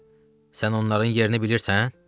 Sən onların yerini bilirsən?